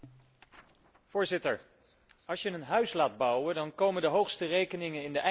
Voorzitter, als je een huis laat bouwen, komen de hoogste rekeningen in de eindfase.